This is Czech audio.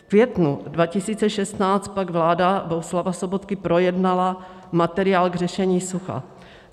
V květnu 2016 pak vláda Bohuslava Sobotky projednala materiál k řešení sucha.